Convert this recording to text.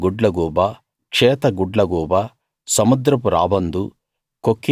తెల్ల గుడ్లగూబ క్షేత గుడ్లగూబ సముద్రపు రాబందు